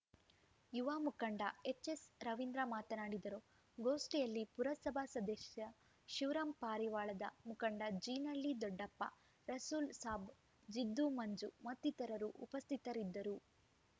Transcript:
ಯುವ ಮುಖಂಡ ಎಚ್‌ಎಸ್‌ ರವೀಂದ್ರ ಮಾತನಾಡಿದರು ಗೋಷ್ಠಿಯಲ್ಲಿ ಪುರಸಭಾ ಸದಸ್ಯ ಶಿವರಾಂ ಪಾರಿವಾಳದ ಮುಖಂಡ ಜೀನಳ್ಳಿ ದೊಡ್ಡಪ್ಪ ರಸೂಲ್‌ ಸಾಬ್‌ ಜಿದ್ದು ಮಂಜು ಮತ್ತಿತರರು ಉಪಸ್ಥಿತರಿದ್ದರು